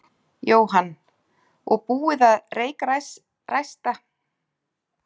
Jóhann: Og búið að reykræsta göngin og opna þau?